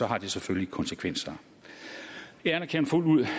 har det selvfølgelig konsekvenser jeg anerkender fuldt ud